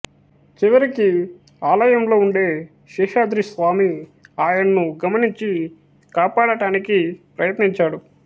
చివరికి ఆలయంలో ఉండే శేషాద్రి స్వామి ఆయన్ను గమనించి కాపాడటానికి ప్రయత్నించాడు